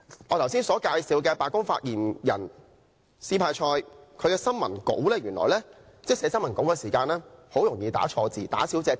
我剛才介紹的白宮發言人斯派塞有一項有趣的特點，就是原來他寫新聞稿時很容易打錯字和打漏字。